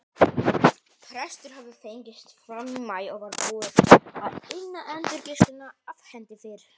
Frestur hafði fengist fram í maí og var búið að inna endurgreiðsluna af hendi fyrr.